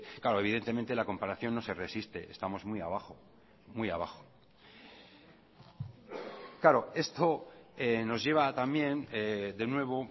claro evidentemente la comparación no se resiste estamos muy abajo muy abajo claro esto nos lleva también de nuevo